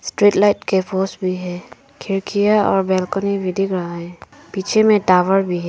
Street light के पोस भी है। खिड़कियां और बालकनी भी दिख रहा हैं। पीछे में टावर भी है।